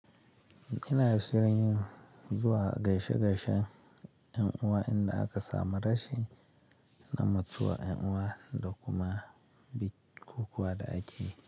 Ina shirin zuwa gaishe-gaishen 'yan'uwa inda aka samu rashin na mutuwa 'yan'uwa da kuma bik-kukuwa da ajiye.